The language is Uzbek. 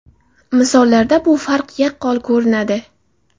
Misollarda bu farq yaqqol ko‘rinadi.